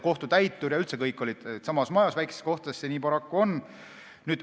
Kohtutäiturid ja üldse kõik olid samas majas, väikestes kohtades see nii paraku on.